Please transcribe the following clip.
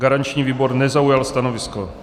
Garanční výbor nezaujal stanovisko.